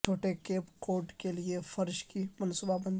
چھوٹے Cape Cod کے لئے فرش کی منصوبہ بندی